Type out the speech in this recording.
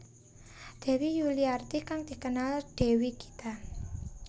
Dewi Yuliarti kang dikenal Dewi Gita